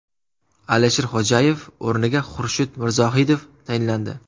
Alisher Xodjayev o‘rniga Xurshid Mirzohidov tayinlandi.